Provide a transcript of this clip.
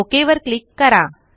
okay वर click करा